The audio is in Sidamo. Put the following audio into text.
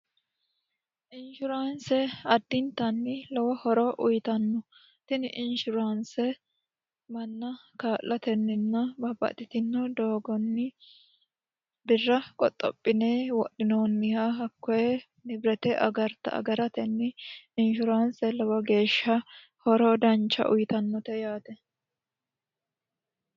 inshuraanse addintanni lowo horo uyitanno tini inshuraanse manna kaa'latenninna baabbaxitino doogonni birra qoxxophine wodhinoonniha hakkoye nibirete agarta agaratenni inshuraanse lowo geeshsha horo dancha uyitannote yaate